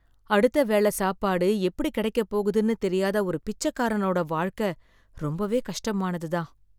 அடுத்த வேள சாப்பாடு எப்டி கிடைக்கப்போகுதுன்னு தெரியாத ஒரு பிச்சக்காரனோட வாழ்க்க ரொம்பவே கஷ்டமானதுதான்.